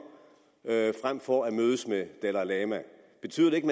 frem for at mødes med dalai lama betyder det ikke